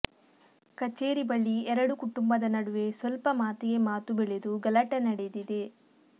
ಕಚೇರಿ ಬಳಿ ಎರಡು ಕುಟುಂಬದ ನಡುವೆ ಸ್ವಲ್ಪ ಮಾತಿಗೆ ಮಾತು ಬೆಳೆದು ಗಲಾಟೆ ನಡೆದಿದೆ